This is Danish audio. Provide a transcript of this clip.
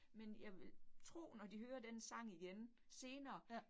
Men jeg vil tro, når de hører den sang igen senere